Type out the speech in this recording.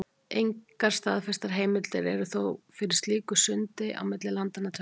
Engar staðfestar heimildir eru þó til fyrir slíku sundi á milli landanna tveggja.